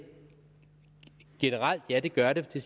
generelt ja det gør det